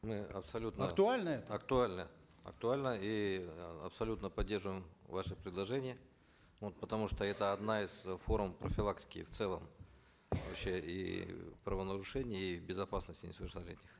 мы абсолютно актуально это актуально актуально и э абсолютно поддерживаем ваше предложение вот потому что это одна из форм профилактики в целом вообще и правонарушений и безопасности несовершеннолетних